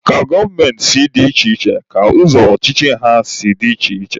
Ka gọọmenti si dị iche iche ka ụzọ ọchịchị ha si dị iche iche.